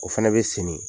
O fɛnɛ bɛ sen